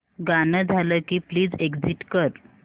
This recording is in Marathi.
गाणं झालं की प्लीज एग्झिट कर